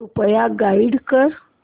कृपया गाईड कर